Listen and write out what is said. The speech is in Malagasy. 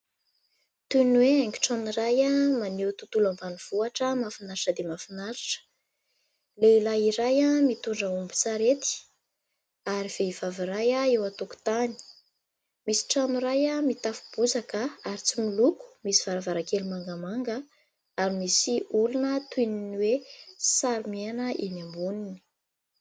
Toy ny hoe haingon-trano iray maneho tontolo ambanivohitra mahafinaritra dia mahafinaritra. Lehilahy iray mitondra ombin-tsarety ary vehivavy iray eo an-tokotany. Misy trano iray mitafo bozaka ary tsy miloko misy varavarankely mangamanga ary misy olona toy ny hoe sary miaina eny amboniny.